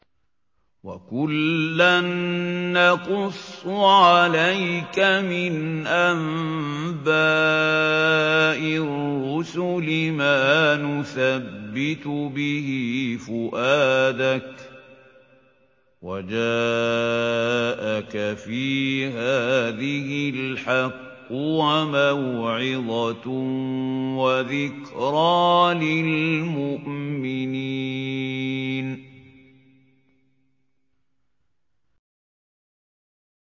وَكُلًّا نَّقُصُّ عَلَيْكَ مِنْ أَنبَاءِ الرُّسُلِ مَا نُثَبِّتُ بِهِ فُؤَادَكَ ۚ وَجَاءَكَ فِي هَٰذِهِ الْحَقُّ وَمَوْعِظَةٌ وَذِكْرَىٰ لِلْمُؤْمِنِينَ